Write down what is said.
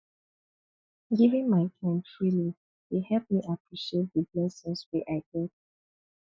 giving my time freely dey help me appreciate the blessings wey i get